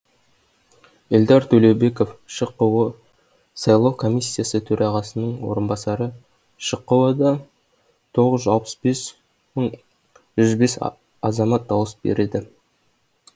эльдар төлеубеков шқо сайлау комиссиясы төрағасының орынбасары шқо да тоғыз жүз алпыс бес мың жүз бес азамат дауыс береді